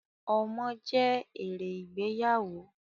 Ọmọ je èrè ìgbéyàwó